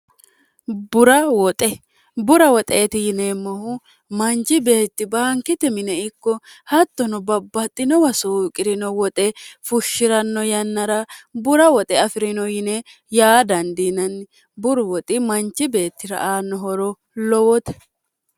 bura woxe bura woxeeti yineemmohu manchi beetti baankite mine ikko hattono babbaxxinowa suuqi'rino woxe fushshi'ranno yannara bura woxe afi'rino yine yaa dandiinanni buru woxi manchi beettira aanno horo lowoote